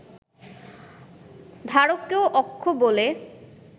ধারককেও অক্ষ বলে